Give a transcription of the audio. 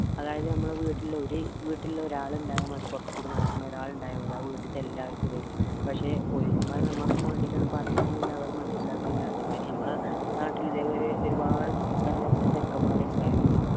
അതായത് നമ്മുടെ വീട്ടിലെ ഒരു വീട്ടിലെ ഒരാളുണ്ടായാൽ മതി പുറത്ത് കൂടെ നടക്കുന്നെ ഒരാൾ ഇണ്ടായ മതി ആ വീട്ടിത്തെ എല്ലാവർക്കും വരും പക്ഷെ police മാർ നമ്മക്ക് വേണ്ടിയിട്ടാണ് പറയണത് എന്ന് അവര് മനസ്സിലാക്കുന്നില്ല അതേമാരി നമ്മളെ നാട്ടില് ഇതേ മാതിരി ഒരുപാട് തലതെറിച്ച ചെറുക്കന്മാർ ഉണ്ടായിരുന്നു